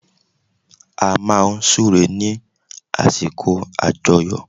A máa n súre ní àsìkò àjoyọ̀